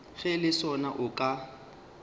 ge le sona o ka